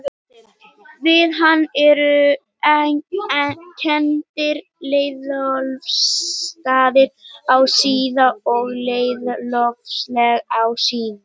Við hann eru kenndir Leiðólfsstaðir á Síðu og Leiðólfsfell á Síðu.